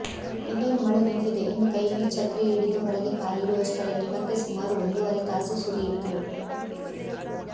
ಇನ್ನೇನು ಮಳೆ ನಿಂತಿದೆ ಎಂದು ಕೈಯಲ್ಲಿ ಛತ್ರಿ ಹಿಡಿದು ಹೊರಗೆ ಕಾಲಿಡುವಷ್ಟರಲ್ಲಿ ಮತ್ತೆ ಸುಮಾರು ಒಂದೂವರೆ ತಾಸು ಸುರಿಯಿತು